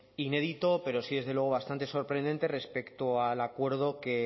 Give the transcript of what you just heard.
inédito pero sí desde luego bastante sorprendente respecto al acuerdo que